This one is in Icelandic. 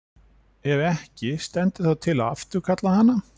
Ef ekki, stendur þá til að afturkalla hana?